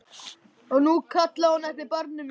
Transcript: Og nú kallaði hún eftir barni mínu.